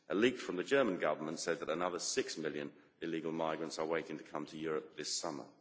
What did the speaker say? A leak from the German Government said that another 6 million illegal migrants are waiting to come to Europe this summer.